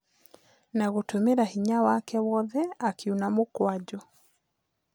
Na gũtũmĩra hinya wake wothe akĩuna mũkwanjũ.